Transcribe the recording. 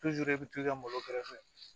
i bɛ t'i ka malo kɛrɛfɛ